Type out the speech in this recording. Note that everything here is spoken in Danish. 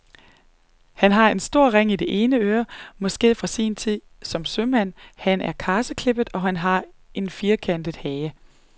Han har en stor ring i det ene øre, måske fra sin tid som sømand, han er karseklippet, og han har en firkantet hage.